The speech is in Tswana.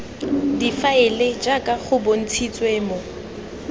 difaele jaaka go bontshitswe mo